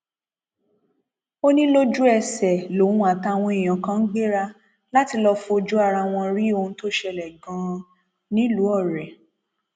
ó ní lójúẹsẹ lòun àtàwọn èèyàn kan gbéra láti lọọ fojú ara àwọn rí ohun tó ṣẹlẹ ganan nílùú ọrẹ